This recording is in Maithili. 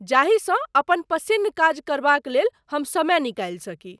जाहि सँ अपन पसिन्न काज करबाक लेल हम समय निकालि सकी।